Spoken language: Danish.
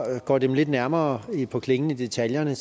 går dem lidt nærmere på klingen i detaljerne